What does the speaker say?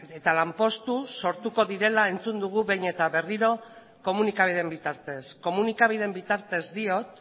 eta lanpostu sortuko direla entzun dugu behin eta berriro komunikabideen bitartez komunikabideen bitartez diot